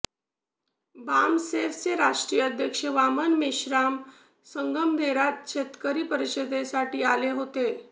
बामसेफचे राष्ट्रीय अध्यक्ष वामन मेश्राम संगमनेरात शेतकरी परिषदेसाठी आले होते